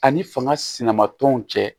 Ani fanga sinama tɔnw cɛ